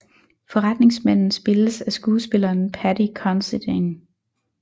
Forretningsmanden spilles af skuespilleren Paddy Considine